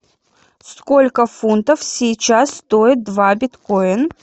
сколько фунтов сейчас стоит два биткоин